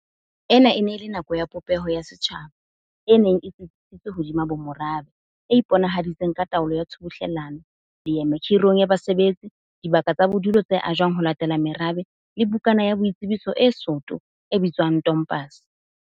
Ena e ne e le nako ya popeho ya setjhaba e neng e tsitsisitsweng hodima bomorabe, e iponahaditseng ka taolo ya tshubuhlelano, leeme khi rong ya basebetsi, dibaka tsa bodulo tse ajwang ho latela merabe le bukana ya boitsebiso e soto e bitswang tompase.